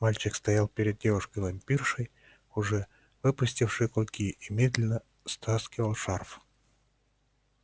мальчик стоял перед девушкой-вампиршей уже выпустившей клыки и медленно стаскивал шарф